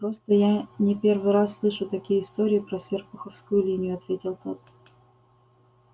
просто я не первый раз слышу такие истории про серпуховскую линию ответил тот